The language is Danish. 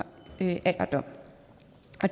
alderdom